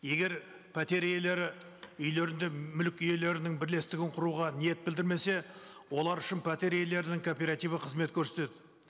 егер пәтер иелері үйлерінде мүлік иелерінің бірлестігін құруға ниет білдірмесе олар үшін пәтер иелерінің кооперативі қызмет көрсетеді